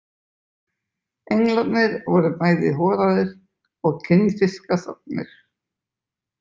Englarnir voru bæði horaðir og kinnfiskasognir.